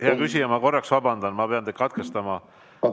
Hea küsija, ma vabandan, et pean teid katkestama.